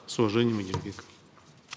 с уважением адильбек